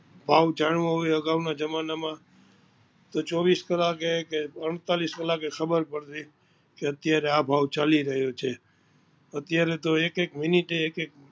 ભાવ જાણવો હોય આગવ ના જમાના માં તો ચોવીસ કલાકે કે અડતાલીશ કલાકે ખબર પડતી કે અત્યારે આ ભાવ ચાલી રહિયો છે, અત્યારે તો એક એક મિનિટે એક એક